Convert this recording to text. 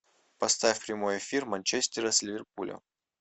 поставь прямой эфир манчестера с ливерпулем